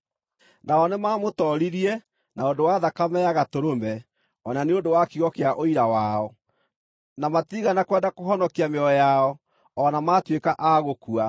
Nao nĩmamũtooririe na ũndũ wa thakame ya Gatũrũme, o na nĩ ũndũ wa kiugo kĩa ũira wao; na matiigana kwenda kũhonokia mĩoyo yao, o na maatuĩka a gũkua.